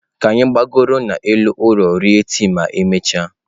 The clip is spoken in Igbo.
Ka anyị gbagoro n'elu ụlọ rie tii ma emechaa.